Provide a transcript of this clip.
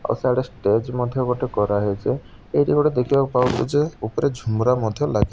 ଆଉ ସାଡେ ଷ୍ଟେଜ ମଧ୍ୟ ଗୋଟେ କରା ହେଇଚି ଏଇଟି ଗୋଟେ ଦେଖିବାକୁ ପାଉଛୁ ଯେ ଉପୁରେ ଝୁମୁରା ମଧ୍ୟ ଲାଗି --